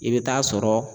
I bɛ taa sɔrɔ